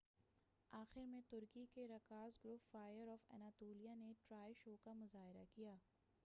آخر میں ترکی کے رقاص گروپ فائر آف اناطولیہ نے ٹرائے شو کا مظاہرہ کیا